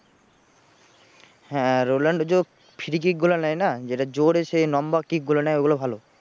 হ্যাঁ রোলান্ড যে free kick গুলো নেয় না যেটা জোর এসে লম্বা kick গুলো নেয় ওগুলো ভালো